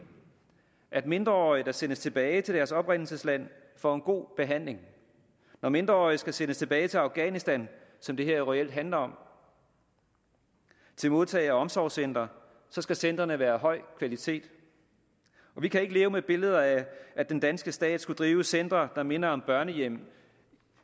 at mindreårige der sendes tilbage til deres oprindelsesland får en god behandling når mindreårige skal sendes tilbage til afghanistan som det her jo reelt handler om til modtage og omsorgscentre skal centrene være af høj kvalitet vi kan ikke leve med et billede af at den danske stat skulle drive centre der minder om børnehjem